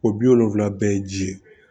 O bi wolonvila bɛɛ ye ji ye